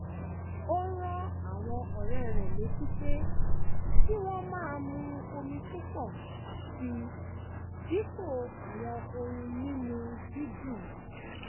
ó rán àwọn ọ̀rẹ́ rẹ̀ létí pé kí wọ́n máa mu omi púpọ̀ sí i dípò àwọn ohun mímu dídùn